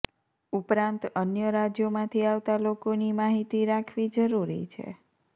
ઉપરાંત અન્ય રાજ્યોમાંથી આવતા લોકોની માહિતી રાખવી જરૂરી છે